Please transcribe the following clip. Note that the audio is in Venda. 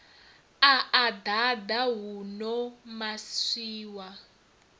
a a ḓaḓa huno maswina